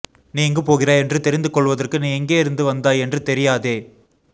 நீ எங்கு போகிறாய் என்று தெரிந்து கொள்வதற்கு நீ எங்கேயிருந்து வந்தாய் என்று தெரியாதே